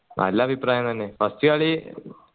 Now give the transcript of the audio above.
നല്ല അഭിപ്രായം തന്നെ first കളി അഹ്